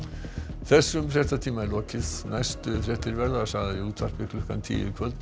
þessum fréttatíma er lokið næstu fréttir verða sagðar í útvarpi klukkan tíu í kvöld